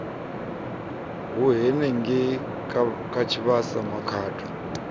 e henengei ha tshivhasa makhado